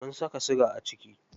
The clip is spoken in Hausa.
Mun saka siga a ciki.